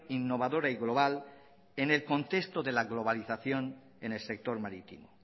innovadora y global en el contexto de la globalización en el sector marítimo